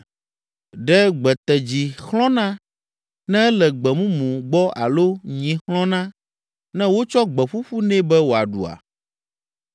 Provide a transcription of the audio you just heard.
Ɖe gbetedzi xlɔ̃na ne ele gbe mumu gbɔ alo nyi xlɔ̃na ne wotsɔ gbe ƒuƒu nɛ be wòaɖua?